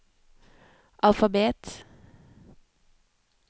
alfabet